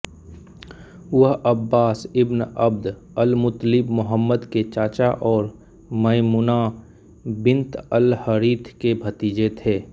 वह Abbas ibn Abd al Muttalib Muhammad के चाचा और मयमुना बिन्त अलहरीथ के भतीजे थे